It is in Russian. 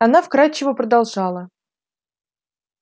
она вкрадчиво продолжала